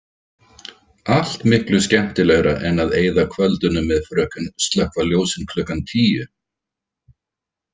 Allt miklu skemmtilegra en að eyða kvöldunum með fröken „slökkva ljósin klukkan tíu“.